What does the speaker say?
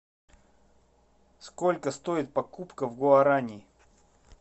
сколько стоит покупка гуарани